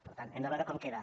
per tant hem de veure com queda